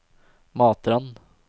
Matrand